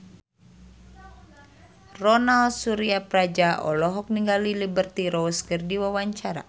Ronal Surapradja olohok ningali Liberty Ross keur diwawancara